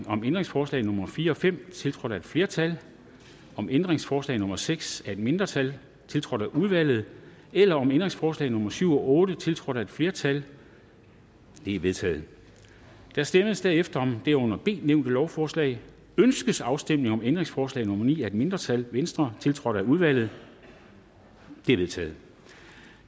om ændringsforslag nummer fire og fem tiltrådt af et flertal om ændringsforslag nummer seks af et mindretal tiltrådt af udvalget eller om ændringsforslag nummer syv og otte tiltrådt af et flertal de er vedtaget der stemmes derefter om det under b nævnte lovforslag ønskes afstemning om ændringsforslag nummer ni af et mindretal tiltrådt af udvalget det er vedtaget